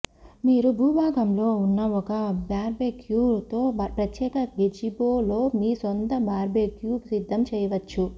మీరు భూభాగంలో ఉన్న ఒక బార్బెక్యూ తో ప్రత్యేక గెజిబో లో మీ సొంత బార్బెక్యూ సిద్ధం చేయవచ్చు